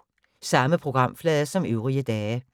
Samme programflade som øvrige dage